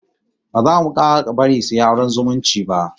Ba za mu 'kara bari suyi auren zumunci ba